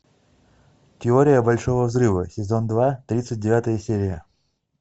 теория большого взрыва сезон два тридцать девятая серия